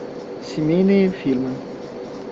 семейные фильмы